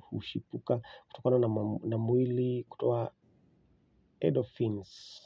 huchipuka kutokana na mwili kutoa edorphins.